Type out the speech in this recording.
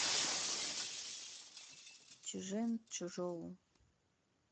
чжэнчжоу